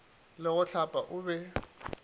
le go hlapa o be